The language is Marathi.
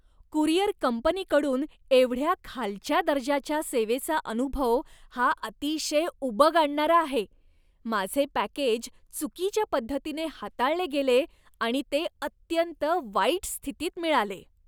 कुरिअर कंपनीकडून एवढ्या खालच्या दर्जाच्या सेवेचा अनुभव हा अतिशय उबग आणणारा आहे. माझे पॅकेज चुकीच्या पद्धतीने हाताळले गेले आणि ते अत्यंत वाईट स्थितीत मिळाले.